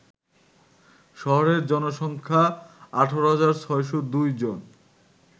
শহরের জনসংখ্যা ১৮৬০২ জন